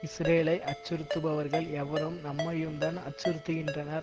இஸ்ரேலை அச்சுறுத்துபவர்கள் எவரும் நம்மையும் தான் அச்சுறுத்துகின்றனர்